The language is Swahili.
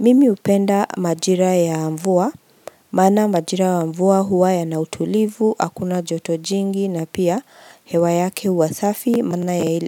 Mimi hupenda majira ya mvua, maana majira ya mvua huwa ya nautulivu, hakuna joto jingi na pia hewa yake huwa safi, mana